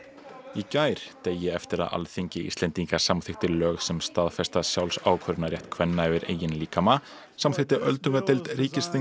í gær degi eftir að Alþingi Íslendinga samþykkti lög sem staðfesta sjálfsákvörðunarrétt kvenna yfir eigin líkama samþykkti öldungadeild